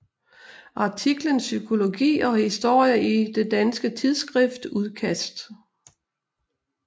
Artiklen Psykologi og historie i det danske tidsskrift Udkast